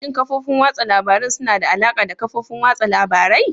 Shin kafofin watsa labarun suna da alaƙa da kafofin watsa labarai?